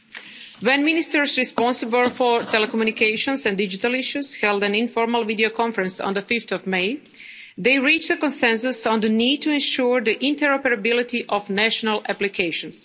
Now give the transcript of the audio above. When the Ministers responsible for telecommunications and digital issues held an informal videoconference on 5 May, they reached consensus on the need to ensure the interoperability of national applications.